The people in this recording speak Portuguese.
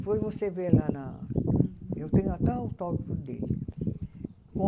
Depois você vê lá na... Eu tenho até o autógrafo dele.